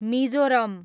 Mizoram